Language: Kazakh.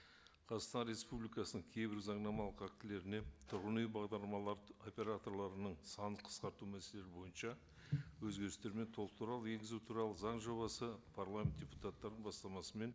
қазақстан республикасының кейбір заңнамалық актілеріне тұрғын үй бағдарламалары операторларының санын қысқарту мәселелері бойынша өзгерістер мен толықтырулар енгізу туралы заң жобасы парламент депутаттарының бастамасымен